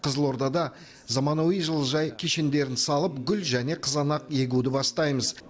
қызылордада заманауи жылыжай кешендерін салып гүл және қызанақ егуді бастаймыз